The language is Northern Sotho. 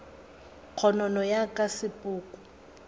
kgonono ya ka ya sepoko